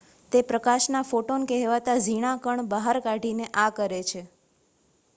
"તે પ્રકાશના "ફોટોન" કહેવાતા ઝીણા કણ બહાર કાઢીને આ કરે છે.